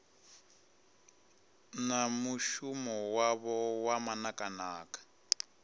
na mushumo wavho wa manakanaka